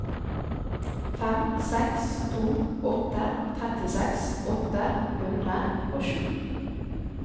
fem seks to åtte trettiseks åtte hundre og sju